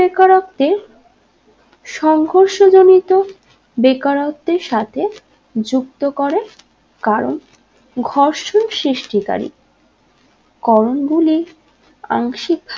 বেকারত্বের সংঘর্ষ জনিত বেকারত্বের সাথে যুক্ত করে কারণ ঘর্ষণ সৃষ্টিকারি করণগুলি আংশিক